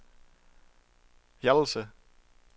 Hjallelse